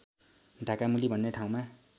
ढाकामुली भन्ने ठाउँमा